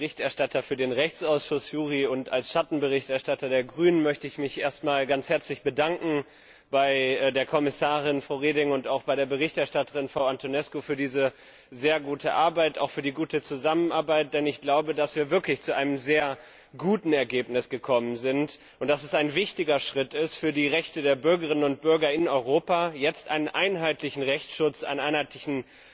Als Berichterstatter für den Rechtsausschuss JURI und als Schattenberichterstatter der Grünen möchte ich mich erst einmal ganz herzlich bei der Kommissarin, Frau Reding, und auch bei der Berichterstatterin, Frau Antonescu, für diese sehr gute Arbeit, auch für die gute Zusammenarbeit, bedanken, denn ich glaube, dass wir wirklich zu einem sehr guten Ergebnis gekommen sind, und dass es ein wichtiger Schritt ist für die Rechte der Bürgerinnen und Bürger in Europa, jetzt in allen EU Ländern verbindlich einen einheitlichen